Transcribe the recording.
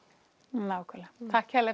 nákvæmlega takk